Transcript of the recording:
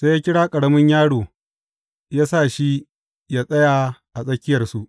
Sai ya kira ƙaramin yaro ya sa shi yă tsaya a tsakiyarsu.